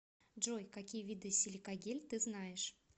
джой какие виды силикагель ты знаешь